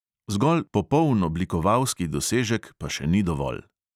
Zgolj popoln oblikovalski dosežek pa še ni dovolj.